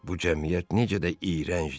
Bu cəmiyyət necə də iyrəncdir!